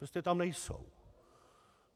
Prostě tam nejsou.